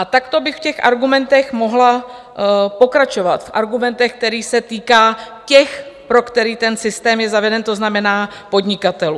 A takto bych v těch argumentech mohla pokračovat, v argumentech, které se týkají těch, pro které ten systém je zaveden, to znamená podnikatelů.